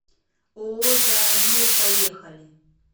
ооо зоомир поехали